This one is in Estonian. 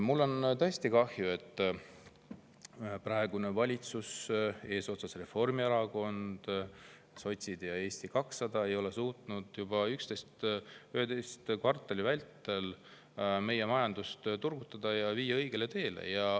Mul on tõesti kahju, et praegune valitsus – Reformierakond, sotsid ja Eesti 200 – ei ole suutnud juba 11 kvartali vältel meie majandust turgutada ja viia õigele teele.